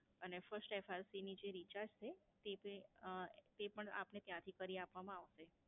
અને first FRC ની જે recharge છે તે ભી અં, તે પણ આપને ત્યાંથી કરી આપવા માં આવશે.